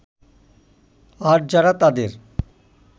আর যারা তাদের